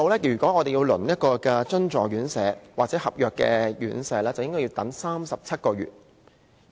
要輪候津助院舍或合約院舍，需要等37個月。